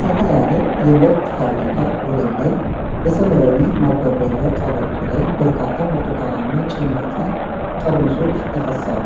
ሰፋ ያለ የምርት ፋብሪካ ወለል ላይ በሰማያዊ ማጓጓዣ ቀበቶ ላይ በርካታ ብርቱካናማ ጭማቂ ጠርሙሶች ይፈሳሉ።